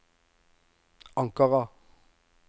Ankara